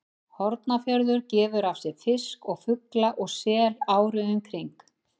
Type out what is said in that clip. Hornafjörður gefur af sér fisk og fugl og sel árið um kring.